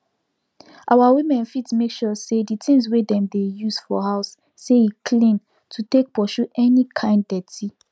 our women fit make sure say the things wey dem dey use for house say e clean to take pursue any kind deti